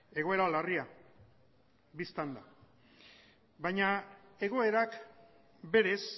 egoera larria dela bistan da baina egoerak berez